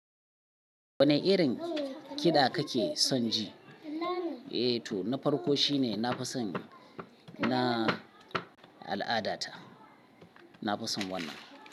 Wane irin kiɗa kake son ji? Eh to, na farko shine nafisan na al'adata. Nafison wannan.